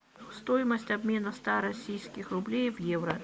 стоимость обмена ста российских рублей в евро